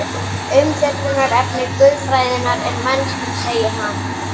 Umfjöllunarefni guðfræðinnar er mennskan, segir hann.